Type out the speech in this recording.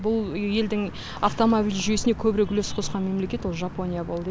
бұл елдің автомобиль жүйесіне көбірек үлес қосқан мемлекет жапония болды